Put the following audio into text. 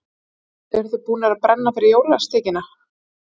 Hödd: Eruð þið búnir að brenna fyrir jólasteikinni?